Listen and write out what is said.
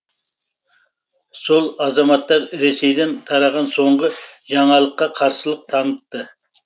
сол азаматтар ресейден тараған соңғы жаңалыққа қарсылық танытты